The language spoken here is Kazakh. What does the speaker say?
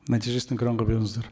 нәтижесін экранға беріңіздер